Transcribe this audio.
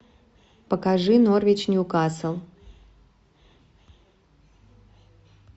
покажи норвич ньюкасл